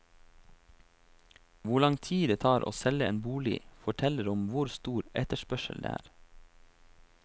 Hvor lang tid det tar å selge en bolig, forteller om hvor stor etterspørsel det er.